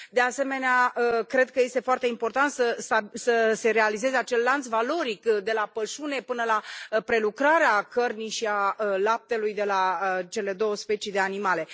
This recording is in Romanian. De asemenea, cred că este foarte important să se realizeze acel lanț valoric de la pășune până la prelucrarea cărnii și a laptelui de la cele două specii de animale.